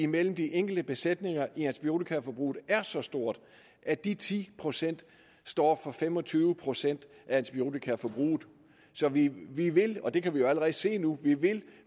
mellem de enkelte besætninger i antibiotikaforbruget er så stort at de ti procent står for fem og tyve procent af antibiotikaforbruget så vi vil og det kan vi jo allerede se nu